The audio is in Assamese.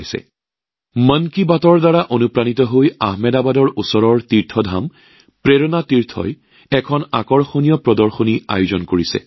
একেদৰে মন কি বাতৰ পৰা অনুপ্ৰাণিত হৈ আহমদাবাদৰ সমীপৰ তীৰ্থধম প্ৰেৰনা তীৰ্থই এক আকৰ্ষণীয় প্ৰদৰ্শনীৰ আয়োজন কৰিছে